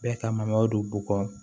Bɛɛ ka malo don bɔgɔ